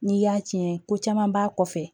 N'i y'a tiɲɛ ko caman b'a kɔfɛ